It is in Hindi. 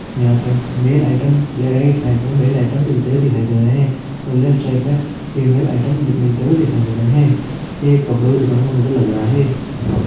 यहाँ पे मेल आइटम या राईट साइड में मेल आइटम मिलते हुए दिखाई दे रहे है और लेफ्ट साइड में फिमेल आइटम मिलते हुए दिखाई दे रहे है| यह एक कपड़ो की दुकान का फोटो लग रहा है।